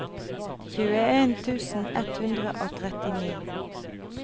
tjueen tusen ett hundre og trettini